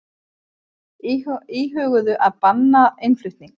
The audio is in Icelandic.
Íhuguðu að banna innflutning